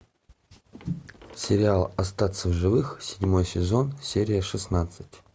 сериал остаться в живых седьмой сезон серия шестнадцать